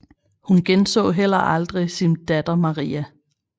Hun genså heller aldrig sin datter Maria